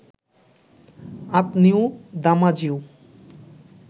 আঁতনিউ দামাজিউ